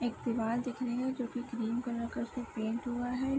एक दीवाल दिख रही है जो कि क्रीम कलर का उसमे पेंट हुआ है ।